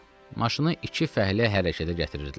Maşını iki fəhlə hərəkətə gətirirdilər.